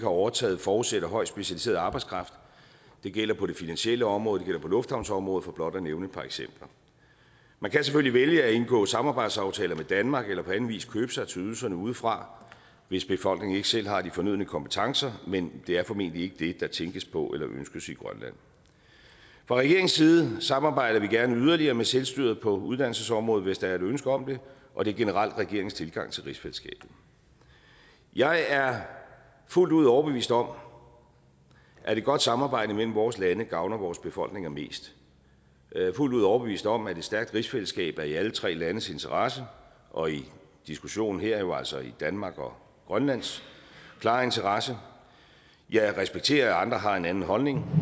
overtaget forudsætter højt specialiseret arbejdskraft det gælder på det finansielle område og det gælder på lufthavnsområdet for blot at nævne et par eksempler man kan selvfølgelig vælge at indgå samarbejdsaftaler med danmark eller på anden vis købe sig til ydelserne udefra hvis befolkningen ikke selv har de fornødne kompetencer men det er formentlig ikke det der tænkes på eller ønskes i grønland fra regeringens side samarbejder vi gerne yderligere med selvstyret på uddannelsesområdet hvis der er et ønske om det og det er generelt regeringens tilgang til rigsfællesskabet jeg er fuldt ud overbevist om at et godt samarbejde mellem vores lande gavner vores befolkninger mest jeg er fuldt ud overbevist om at et stærkt rigsfællesskab er i alle tre landes interesse og i diskussionen her jo altså i danmark og grønlands klare interesse jeg respekterer at andre har en anden holdning